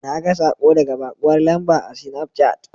Naga saƙo daga baƙuwar lamba a sinafcat.